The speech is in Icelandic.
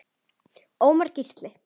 Ómar Gísli.